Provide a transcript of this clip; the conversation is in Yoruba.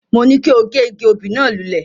Mo ní kí o gé igi obì náà lulẹ̀.